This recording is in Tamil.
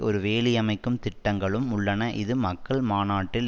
ஒரு வேலியமைக்கும் திட்டங்களும் உள்ளன இது மக்கள் மாநாட்டில்